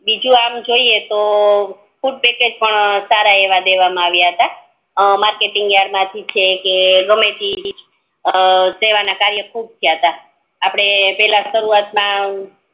બીજું આમ જોઈએ તો ફૂડ પેકેટ પણ સારા આમ દેવામાં આવ્યા ત અમ માર્કેટિંગ યાર્ડ માંથી છે કે ગમે તે માંથી સેવન કાર્ય ખુબ થયાત આપડે પેલા